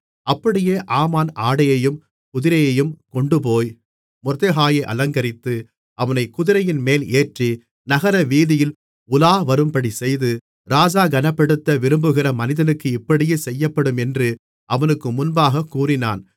அப்படியே ஆமான் ஆடையையும் குதிரையையும் கொண்டுபோய் மொர்தெகாயை அலங்கரித்து அவனைக் குதிரையின்மேல் ஏற்றி நகரவீதியில் உலாவரும்படிச்செய்து ராஜா கனப்படுத்த விரும்புகிற மனிதனுக்கு இப்படியே செய்யப்படும் என்று அவனுக்கு முன்பாகக் கூறினான்